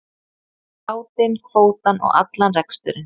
Bátinn, kvótann og allan reksturinn.